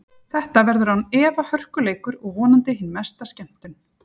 Þetta verður án efa hörku leikur og vonandi hin mesta skemmtun.